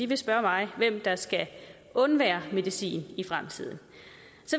vil spørge mig hvem der skal undvære medicin i fremtiden